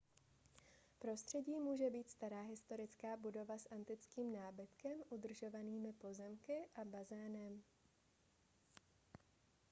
prostředí může být stará historická budova s antickým nábytkem udržovanými pozemky a bazénem